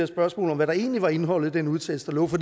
spørgsmål hvad der egentlig var indholdet i den udtalelse der lå for